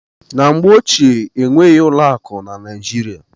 Na mgbe ochie, enweghị ụlọ akụ na Naijiria.